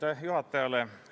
Aitäh juhatajale!